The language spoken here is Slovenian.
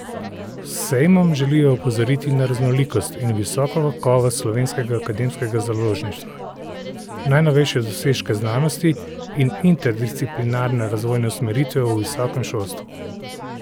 S sejmom želijo opozoriti na raznolikost in visoko kakovost slovenskega akademskega založništva, najnovejše dosežke znanosti in interdisciplinarne razvojne usmeritve v visokem šolstvu.